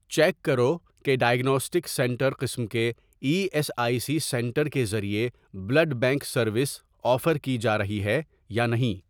check کرو کہ diagnostic centre قسم کے E S I C centre کے ذریعے بلڈ بینک سروس آفر کی جارہی ہے یا نہیں